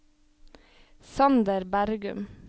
Sander Bergum